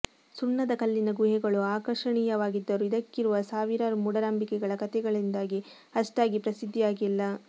ಸುಣ್ಣದ ಕಲ್ಲಿನ ಗುಹೆಗಳು ಆಕರ್ಷಣೀಯವಾಗಿದ್ದರೂ ಇದಕ್ಕಿರುವ ಸಾವಿರಾರು ಮೂಢನಂಬಿಕೆಗಳ ಕತೆಗಳಿಂದಾಗಿ ಅಷ್ಟಾಗಿ ಪ್ರಸಿದ್ಧಿಯಾಗಿಲ್ಲ